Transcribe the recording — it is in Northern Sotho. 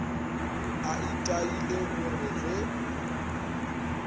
a itaile go re ge